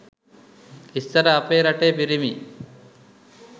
ඉස්සර අපේ රටේ පිරිමි